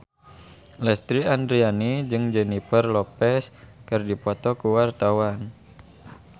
Lesti Andryani jeung Jennifer Lopez keur dipoto ku wartawan